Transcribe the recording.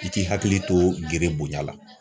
I k'i hakili to gere bonya la.